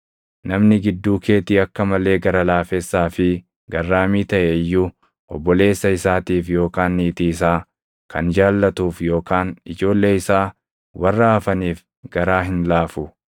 Namni gidduu keetii akka malee gara laafessaa fi garraamii taʼe iyyuu obboleessa isaatiif yookaan niitii isaa kan jaallatuuf yookaan ijoollee isaa warra hafaniif garaa hin laafu;